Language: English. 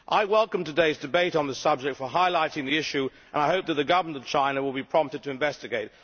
I welcome today's debate on the subject for highlighting the issue and I hope that the government in China will be prompted to investigate.